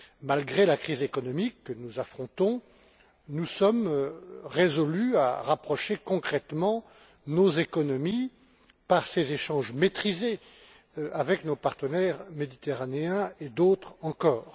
Malgré la crise économique que nous affrontons, nous sommes résolus à rapprocher concrètement nos économies par ces échanges maîtrisés avec nos partenaires méditerranéens et d'autres encore.